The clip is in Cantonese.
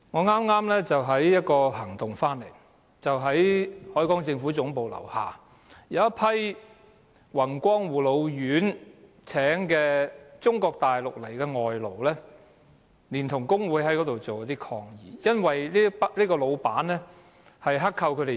我剛剛在一個抗議行動回來，在海港政府大樓樓下有一批宏光護老院聘請的中國大陸外勞連同工會人士在那裏提出抗議，因為那個老闆剋扣工資。